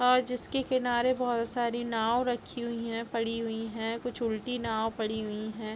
और जिसके किनारे बहुत सारी नांव रखी हुई है पड़ी हुई है कुछ उलटी नांव पड़ी हुई है।